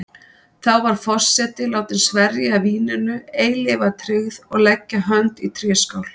Þá er forseti látin sverja víninu eilífa tryggð og leggja hönd í tréskál.